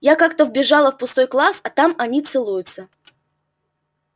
я как-то вбежала в пустой класс а они там целуются